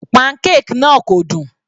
Pancake náà kò dùn.